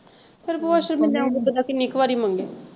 ਫਿਰ ਭੂਆ ਸ਼ਰਮਿੰਦਿਆ ਵਾਂਗੂ ਬੰਦਾ ਕਿੰਨੀ ਕ ਵਾਰੀ ਮੰਗੇ।